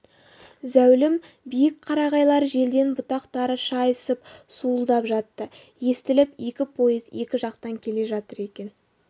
зәулім биік қарағайлар желден бұтақтары шайысып суылдап жатты естіліп екі пойыз екі жақтан келе жатыр екен